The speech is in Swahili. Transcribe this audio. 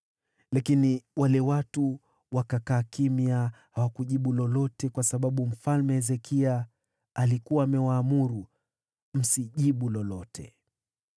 Lakini wale watu wakakaa kimya, wala hawakujibu lolote, kwa kuwa mfalme alikuwa amewaamuru, “Msimjibu lolote.”